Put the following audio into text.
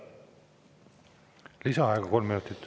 Lisaaeg kolm minutit.